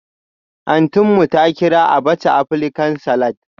Auntynmu ta kira abacha Aprican-salad